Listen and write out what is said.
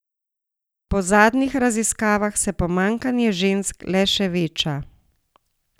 Po zadnjih raziskavah se pomanjkanje žensk le še veča.